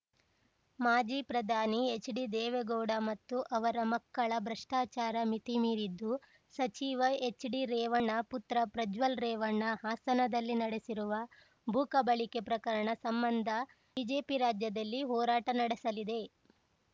ಮಾಜಿ ಪ್ರಧಾನಿ ಎಚ್‌ಡಿದೇವೇಗೌಡ ಮತ್ತು ಅವರ ಮಕ್ಕಳ ಭ್ರಷ್ಟಾಚಾರ ಮಿತಿಮೀರಿದ್ದು ಸಚಿವ ಎಚ್‌ಡಿರೇವಣ್ಣ ಪುತ್ರ ಪ್ರಜ್ವಲ್‌ ರೇವಣ್ಣ ಹಾಸನದಲ್ಲಿ ನಡೆಸಿರುವ ಭೂಕಬಳಿಕೆ ಪ್ರಕರಣ ಸಂಬಂಧ ಬಿಜೆಪಿ ರಾಜ್ಯದಲ್ಲಿ ಹೋರಾಟ ನಡೆಸಲಿದೆ